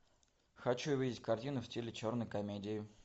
хочу увидеть картину в стиле черной комедии